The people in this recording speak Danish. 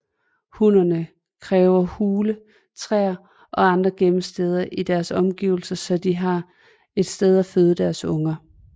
Hunnerne kræver hule træer eller andre gemmesteder i deres omgivelser så de har et sted at føde deres unger